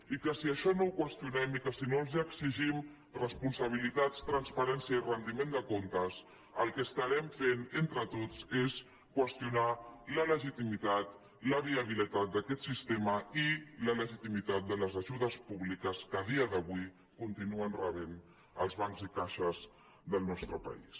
i que si això no ho qüestionem i que si no els exigim responsabilitats transparència i rendiment de comptes el que estarem fent entre tots és qüestionar la legitimitat la viabilitat d’aquest sis·tema i la legitimitat de les ajudes públiques que a dia d’avui continuen rebent els bancs i les caixes del nos·tre país